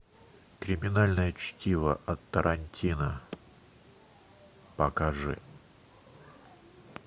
криминальное чтиво от тарантино покажи